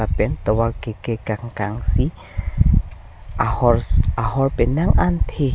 pen tovar kekek kangkang si ahors ahor penang an the.